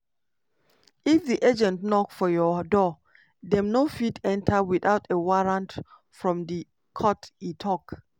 "if di agent knock for your door dem no fit enta without a warrant from di court" e tok.